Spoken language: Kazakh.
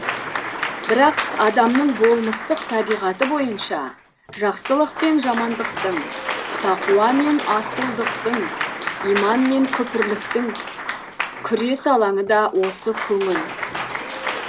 бірақ адамның болмыстық табиғаты бойынша жақсылық пен жамандықтың тақуа мен асылдықтың иман мен күпірліктің күрес алаңы да осы көңіл